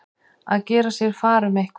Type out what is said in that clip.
Að gera sér far um eitthvað